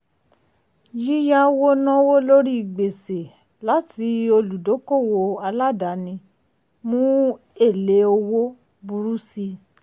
um yíyáwó náwó lórí gbèsè láti olùdókòwò aládàáni um mú èlé owó um burú síi.